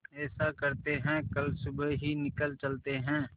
ऐसा करते है कल सुबह ही निकल चलते है